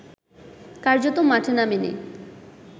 কার্যত মাঠে নামেনি